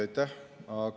Aitäh!